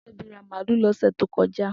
Tobi rà màlùú lọsẹ tó kọjá